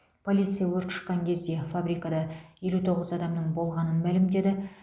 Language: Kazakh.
полиция өрт шыққан кезде фабрикада елу тоғыз адамның болғанын мәлімдеді